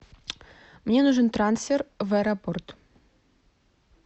мне нужен трансфер в аэропорт